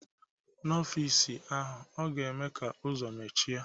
N'ọfịs ahụ, ọ ga-eme ka ụzọ mechie